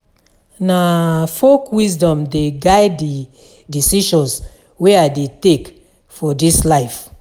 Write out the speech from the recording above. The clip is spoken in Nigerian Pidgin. Na folk wisdom dey guide di decisions wey I dey take for dis life.